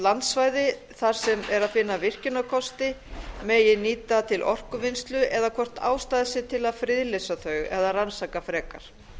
landsvæði þar sem er að finna virkjunarkosti megi nýta til orkuvinnslu eða hvort ástæða sé til að friðlýsa þau eða rannsaka frekar